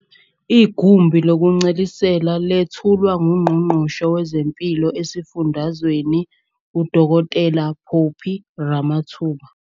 Igumbi lokuncelisela lethulwa nguNgqongqoshe wezeMpilo esiFundazweni uDkt Phophi Ramathuba.